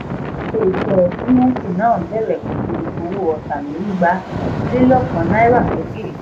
ile-iṣẹ́ sìmẹ́ntì náà bẹ̀rẹ̀ pẹ̀lú owó otalerugba lè lọ́kan náírà sókè.